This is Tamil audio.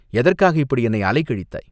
"எதற்காக இப்படி என்னை அலைக்கழித்தாய்?